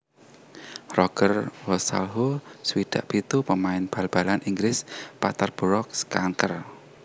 Roger Wosahlo swidak pitu pamain bal balan Inggris Peterborough kanker